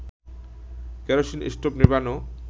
kerosene stove নেভানো